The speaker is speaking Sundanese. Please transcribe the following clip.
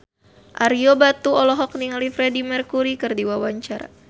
Ario Batu olohok ningali Freedie Mercury keur diwawancara